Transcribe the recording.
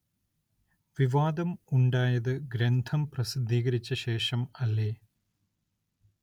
വിവാദം ഉണ്ടായത് ഗ്രന്ഥം പ്രസിദ്ധീകരിച്ച ശേഷം അല്ലേ